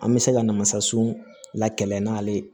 An bɛ se ka na masa sun lakɛ n'ale ye